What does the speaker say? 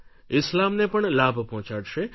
ઇસ્લામને પણ લાભ પહોંચાડશે